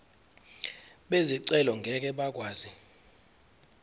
bezicelo ngeke bakwazi